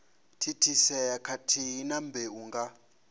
thithisea khathihi na mbeu nga